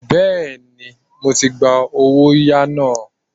Bẹ́ẹ̀ni, mo ti gba owóyàá náà.